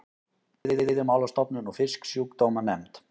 Veiðimálastofnun og Fisksjúkdómanefnd.